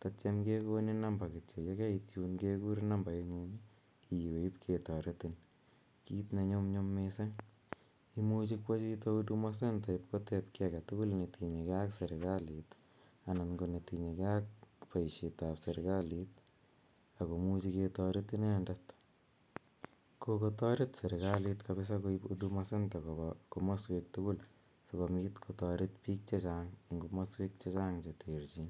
tatiam kekonin namba kityo, ye keit yuun kekur nambarit ng'ung' iwe yun kityo ip ketaretin, kiit ne nyumnyum missing'. Imuchi kowa chito huduma center ip kotep ki age tugul ne tinye gei ak serikalit anan ko neyinye gei ak poishetap serikalit ako muchi ketaret inendet. Kokotaret serikalit kapdsa koip huduma center cs) kopa komaswek tugul si kopit kotaret piik che chang' eng' komaswek che chang' che terchin.